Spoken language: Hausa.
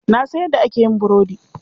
Na san yadda ake yin burudi.